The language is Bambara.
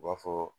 U b'a fɔ